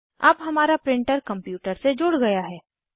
अब हमारा printer computer से जुड़ गया है